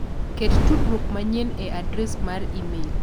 Ket tudruok manyien e adres mar imel.